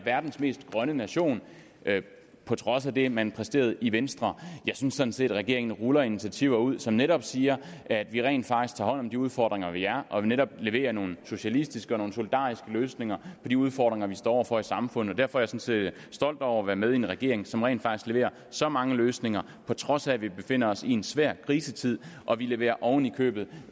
verdens mest grønne nation på trods af det man præsterede i venstre jeg synes sådan set at regeringen ruller initiativer ud som netop siger at vi rent faktisk tager hånd om de udfordringer der er og at vi netop leverer nogle socialistiske og nogle solidariske løsninger på de udfordringer vi står over for i samfundet derfor er set stolt over at være med i en regering som rent faktisk leverer så mange løsninger på trods af at vi befinder os i en svær krisetid og vi leverer oven i købet